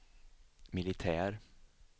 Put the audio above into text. militär